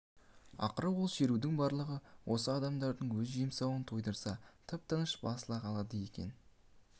ақыры ол шерудің барлығы осы адамдардың өз жемсауын тойдырса тыпа-тыныш басыла қалады екен